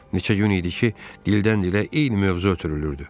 Neçə gün idi ki, dildən-dilə eyni mövzu ötürülürdü.